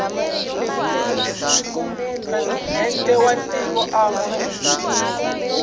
presidente wa tiko a nga